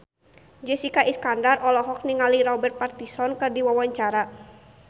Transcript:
Jessica Iskandar olohok ningali Robert Pattinson keur diwawancara